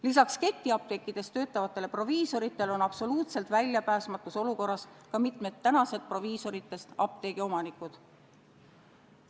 Lisaks ketiapteekides töötavatele proviisoritele on absoluutselt väljapääsmatus olukorras ka mitmed tänased proviisoritest apteegiomanikud.